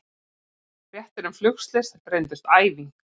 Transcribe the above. Fréttir um flugslys reyndust æfing